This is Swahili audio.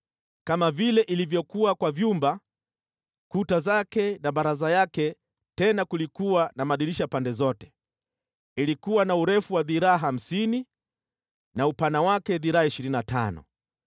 kama vile ilivyokuwa kwa vyumba, kuta zake na baraza yake, tena kulikuwa na madirisha pande zote. Ilikuwa na urefu wa dhiraa hamsini na upana wake dhiraa ishirini na tano.